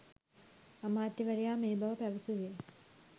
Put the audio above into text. අමාත්‍යවරයා මේ බව පැවසුවේ